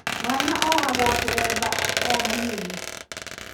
Mwana ohagũo kĩremba arĩo mũnini